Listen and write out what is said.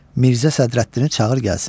Mirzə Sədrəddini çağır gəlsin.